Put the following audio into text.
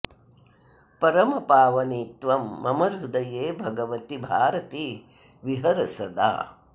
परमपावनि त्वं मम हृदये भगवति भारति विहर सदा